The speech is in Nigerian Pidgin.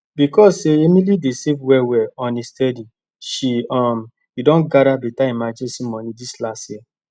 becos say emily dey save well well on a steady she um don gada beta emergency moni dis last year